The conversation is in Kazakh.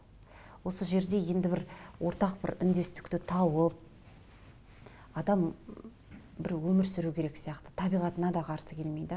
осы жерде енді бір ортақ бір үндестікті тауып адам м бір өмір сүру керек сияқты табиғатына да қарсы келмей де